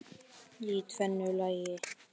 Í tvennu lagi.